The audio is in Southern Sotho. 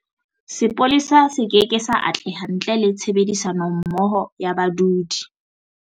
Sepolesa se keke sa atleha ntle le tshebedisanommoho ya badudi.